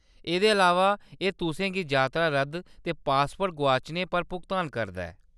एह्‌‌‌दे अलावा, एह्‌‌ तुसें गी यात्रा रद्द करने ते पासपोर्ट गोआचने पर भुगतान करदा ऐ।